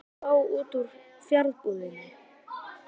Hvað vill það fá út úr fjarbúðinni?